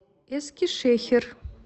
эскишехир